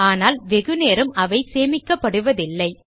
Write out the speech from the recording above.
ஆனால் வெகு நேரம் அவை சேமிக்கப்படுவதில்லை